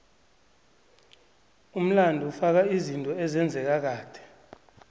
umlando ufaka izinto ezenzeka kade